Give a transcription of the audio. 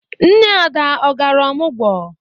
Nne Ada ọ gara ọmọgwụ?